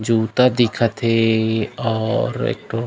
जूता दिखत हे और एकठो--